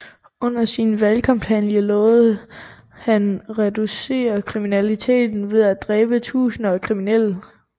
Under sin valgkampagne lovede han at reducere kriminaliteten ved at dræbe titusinder af kriminelle